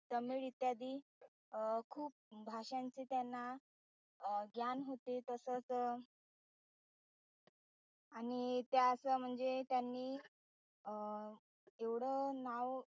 तामिळ इत्यादी खूप भाषांचे त्यांना अं ग्यान होते तसच णि त्या असं म्हणजे त्यांनी अ एवढं नाव